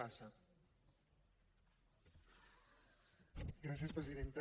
gràcies presidenta